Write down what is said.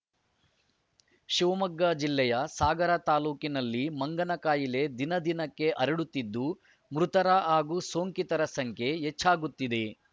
ಶಿವಮೊಗ್ಗ ಜಿಲ್ಲೆಯ ಸಾಗರ ತಾಲೂಕಿನಲ್ಲಿ ಮಂಗನಕಾಯಿಲೆ ದಿನದಿನಕ್ಕೆ ಹರಡುತ್ತಿದ್ದು ಮೃತರ ಹಾಗೂ ಸೋಂಕಿತರ ಸಂಖ್ಯೆ ಹೆಚ್ಚಾಗುತ್ತಿದೆ